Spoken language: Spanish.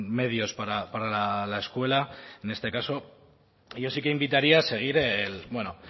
medios para la escuela en este caso y yo sí que invitaría a seguir bueno